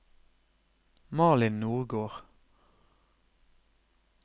Malin Nordgård